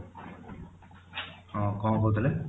ହଁ କଣ କହୁ ଥିଲେ?